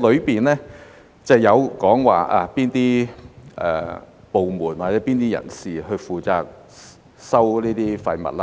當中提及哪些部門或哪些人士負責收集這些廢物，